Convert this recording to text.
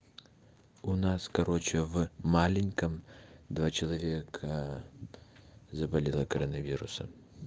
у нас короче в маленьком два человека заболела коронавирусом